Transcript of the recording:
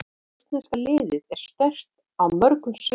Rússneska liðið er sterkt á mörgum sviðum.